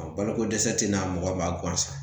Balokodɛsɛ ti na mɔgɔ b'a gansan